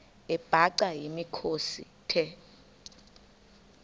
amabhaca yimikhosi the